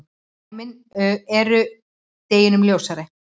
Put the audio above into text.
Dæmin eru deginum ljósari.